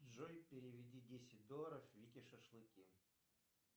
джой переведи десять долларов вике шашлыки